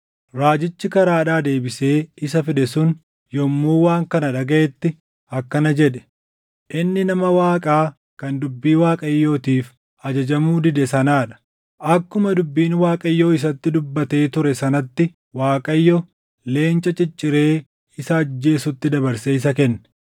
Raajichi karaadhaa deebisee isa fide sun yommuu waan kana dhagaʼetti akkana jedhe; “Inni nama Waaqaa kan dubbii Waaqayyootiif ajajamuu dide sanaa dha. Akkuma dubbiin Waaqayyoo isatti dubbatee ture sanatti Waaqayyo leenca cicciree isa ajjeesutti dabarsee isa kenne.”